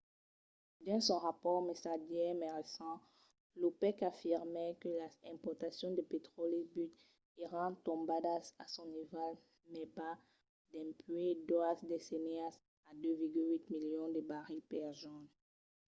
dins son rapòrt mesadièr mai recent l’opec afirmèt que las exportacions de petròli brut èran tombadas a son nivèl mai bas dempuèi doas decennias a 2,8 milions de barrils per jorn